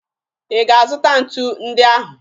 Ị ga-azụta ntu ndị ahụ?